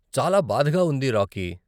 చాలా బాధగా ఉంది, రాకీ.